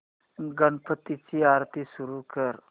गणपती ची आरती सुरू कर